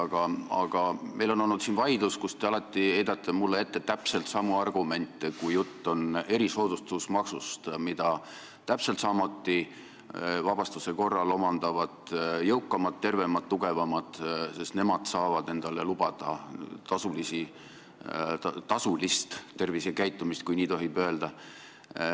Samas, meil on olnud siin vaidlus, kus te alati heidate mulle ette täpselt samu argumente, kui jutt on erisoodustusmaksust, millest vabastuse korral samuti saavad kasu jõukamad, tervemad, tugevamad, sest nemad saavad endale lubada tasulist tervisekäitumist, kui nii tohib öelda.